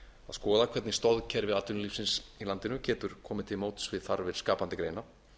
skoða hvernig stoðkerfi atvinnulífsins í landinu getur komið til móts við þarfir skapandi greina